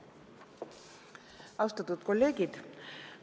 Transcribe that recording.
Austatud kolleegid!